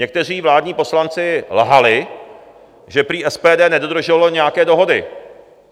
Někteří vládní poslanci lhali, že prý SPD nedodrželo nějaké dohody.